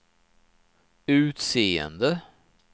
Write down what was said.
utseende